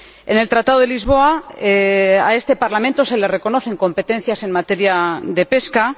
En el Tratado de Lisboa a este Parlamento se le reconocen competencias en materia de pesca.